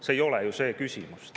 See ei ole ju see küsimus.